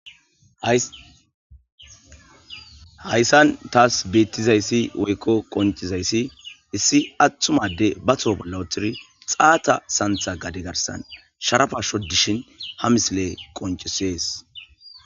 hayssan taas beettizayssi woykko qoncizayssi issi atthumade bato bolla othiri xaata santha gade garsan sharafa shodishin ha misile qoncisees